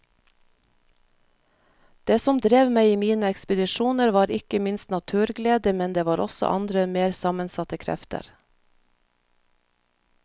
Det som drev meg i mine ekspedisjoner var ikke minst naturglede, men det var også andre mer sammensatte krefter.